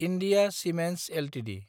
India cements Ltd